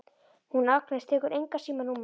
Hún Agnes tekur engan síma núna.